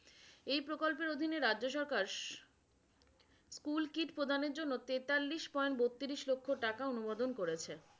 এই প্রকল্পের অধীনে রাজ্য সরকাস কুলকিট প্রদানের জন্য তেতাল্লিশ পয়েন্ট বত্রিশ লক্ষ টাকা অনুমোদন করেছে।